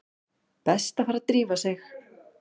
Best að fara að drífa sig.